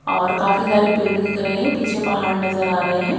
और काफी सारे पेड़ दिख रहे हैं पीछे पहाड़ नजर आ रहे हैं।